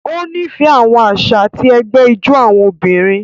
O nifẹ àwọn àṣà ti ẹgbẹ ijó àwọn obìnrin.